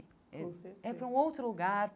Com certeza É é para um outro lugar.